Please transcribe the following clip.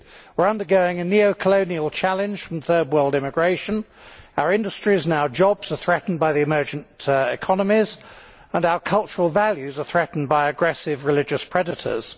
We are undergoing a neo colonial challenge from Third World immigration, our industries and our jobs are threatened by the emergent economies and our cultural values are threatened by aggressive religious predators.